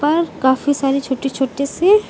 और काफी सारे छोटे छोटे से--